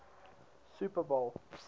super bowl